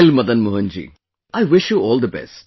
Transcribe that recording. Well, Madan Mohan ji, I wish you all the best